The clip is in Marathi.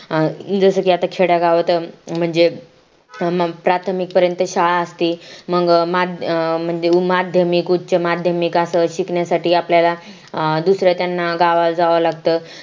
जसं की आता खेडयगावत म्हणजे अं प्राथमिक पर्यंत शाळा असती मग अं म्हणजे माध्यमिक उमाध्यमिक उचमाध्यमिक असं शिकण्यासाठी आपल्याला दुसऱ्या त्यांना गावाला जावा लागत